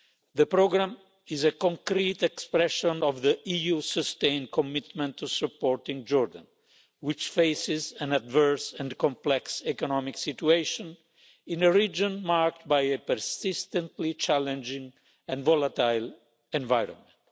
The programme is a concrete expression of the EU's sustained commitment to supporting Jordan, which faces an adverse and complex economic situation in a region marked by a persistently challenging and volatile environment.